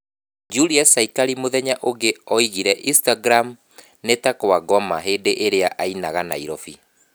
Julius Saikari mũthenya ũngĩ oigire instagram nĩta "kwa ngoma" hĩndĩ ĩrĩa ainaga Nairobi